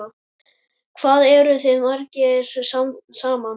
Hvað eru þeir margir saman?